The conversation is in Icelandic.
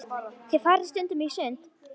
Þið farið stundum í sund.